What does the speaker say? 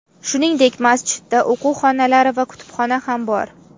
Shuningdek, masjidda o‘quv xonalari va kutubxona ham bor.